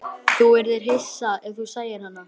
Þú yrðir hissa ef þú sæir hana.